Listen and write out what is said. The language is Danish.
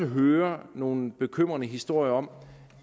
hører nogle bekymrende historier om